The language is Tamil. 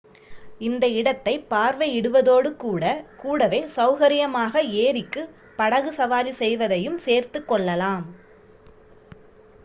இந்த இடத்தை பார்வையிடுவதோடு கூட வே சௌகரியமாக ஏரிக்கு படகு சவாரி செய்வதையும் சேர்த்துக்கொள்ளலாம்